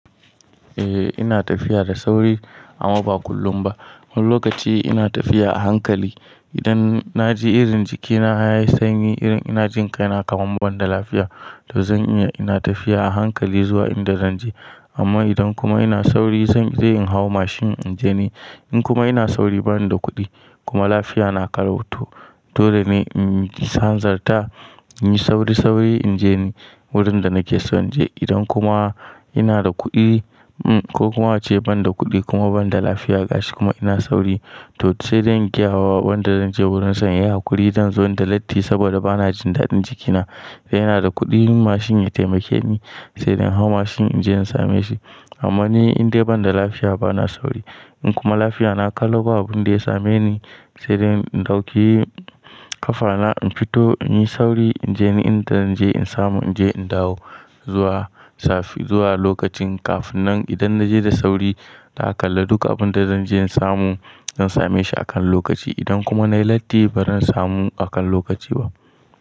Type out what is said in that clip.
Eh ina tafiya da sauri amma ba kullum ba. Wani lokaci ina tafiya a hankali. Idan na ji irin jikina yayi sanyi, irin ina jin kaina kamar ban da lafiya, to zan iya ina tafiya a hankali zuwa inda zan je. Amma idan kuma ina sauri zan in hau mashin in je ni. In kuma ina sauri bani da kuɗi kuma lafiya na kalau to, dole ne in hanzarta, in yi sauri-sauri in je ni wurin da nake son in je. Idan kuma ina da kuɗi um ko kuma ace ban da kuɗi kuma ban da lafiya gashi kuma ina sauri to sai dai in gaya wa wanda zan je wurin sa. Yayi haƙuri zan zo inda latti saboda bana jin daɗin jikina. In yana da kuɗin mashin ya taimake ni sai in hau mashin in je in same shi. Amma ni indai ban da lafiya bana sauri. In kuma lafiya na kalau ba abin da ya same ni sai dai in ɗauki ƙafa na in fito in yi sauri in je ni inda zan je in samu in je in dawo zuwa lokacin. Kafin nan idan na je da sauri na kalla duk abun da zan je in samu zan same shi a kan lokaci. Idan kuma nayi latti bazan samu a kan lokaci ba.